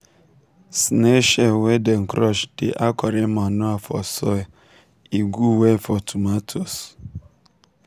snail shell wey dem crush dey add correct manure for soil e good well for tomatoes.